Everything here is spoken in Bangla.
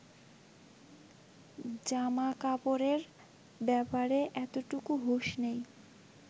জামাকাপড়ের ব্যাপারে এতটুকু হুঁশ নেই